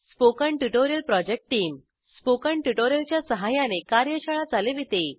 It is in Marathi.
spoken tutorial project team spoken tutorial च्या सहाय्याने कार्यशाळा चालविते